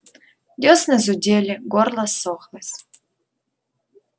дёсны зудели горло ссохлось